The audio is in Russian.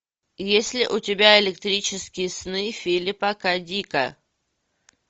есть ли у тебя электрические сны филипа к дика